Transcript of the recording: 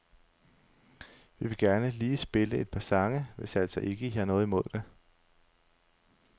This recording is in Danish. Vi vil gerne lige spille et par sange, hvis altså ikke I har noget imod det.